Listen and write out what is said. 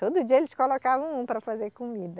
Todo dia eles colocavam um para fazer comida.